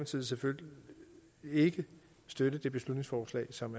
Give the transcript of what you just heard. side selvfølgelig ikke støtte det beslutningsforslag som